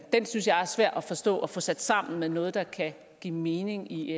synes jeg er svær at forstå og få sat sammen med noget der kan give mening i